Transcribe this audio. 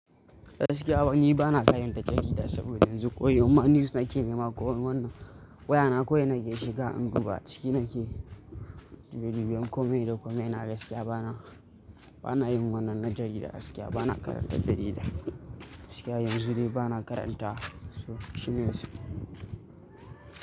Gaskiya fa ni, bana karanta jarida saboda yanzu koyin news nake nema. Ko wannan waya na kawai nake shiga, in duba ciki nake. Dubi, dubi, kome da kome na gaskiya bana, bana yin wannan na jarida. Gaskiya bana karanta jarida. Gaskiya yanzu dai bana karanta su news.